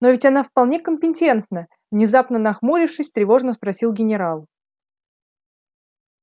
но ведь она вполне компетентна внезапно нахмурившись тревожно спросил генерал